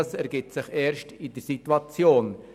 Das ergibt sich erst in der Situation.